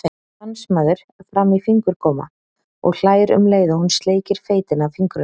Dansmaður-fram-í-fingurgóma, og hlær um leið og hún sleikir feitina af fingrunum.